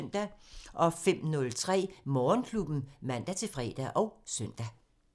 05:03: Morgenklubben (man-fre og søn)